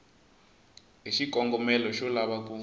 hi xikongomelo xo lava ku